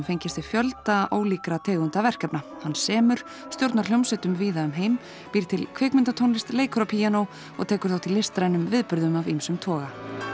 fengist við fjölda ólíkra tegunda verkefna hann semur stjórnar hljómsveitum víða um heim býr til kvikmyndatónlist leikur á píanó og tekur þátt í listrænum viðburðum af ýmsum toga